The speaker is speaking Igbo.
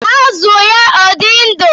Azụ ya ọ̀ dị ndụ?